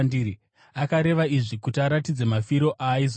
Akareva izvi kuti aratidze mafiro aaizoita.